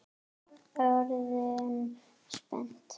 Orðin spennt?